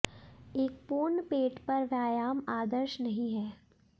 एक पूर्ण पेट पर व्यायाम आदर्श नहीं है